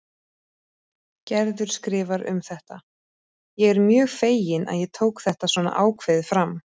Gerður skrifar um þetta: Ég er mjög fegin að ég tók þetta svona ákveðið fram.